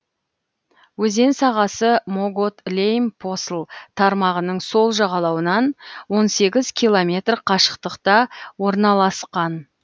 өзен сағасы могот лейм посл тармағының сол жағалауынан он сегіз километр қашықтықта орналасқан